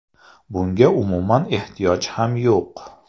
Bunga umuman ehtiyoj ham yo‘q.